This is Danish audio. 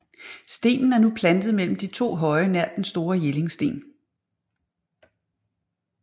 Stenen er nu placeret mellem de to høje nær Den store Jellingsten